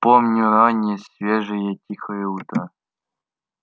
помню раннее свежее тихое утро